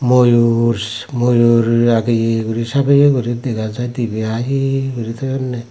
moyus moyur rageye guri sabeye guri dega jai dibey haihe gori toyonne.